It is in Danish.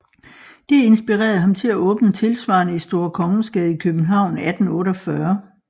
Det inspirerede ham til at åbne tilsvarende i Store Kongensgade i København 1848